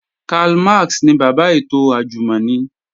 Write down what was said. Karl Max ni bàbá ètò àjùmọ̀ni